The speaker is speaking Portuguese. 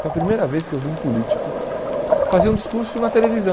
Foi a primeira vez que eu vi um político fazer um discurso na televisão.